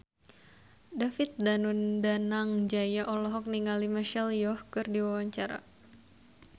David Danu Danangjaya olohok ningali Michelle Yeoh keur diwawancara